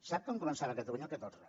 sap quan començava a catalunya el catorze